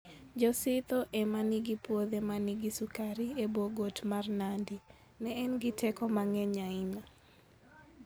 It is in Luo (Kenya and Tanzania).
Jo-Sidho ema nigi puothe ma nigi sukari e bwo got mar Nandi. Ne en gi teko mang'eny ahinya.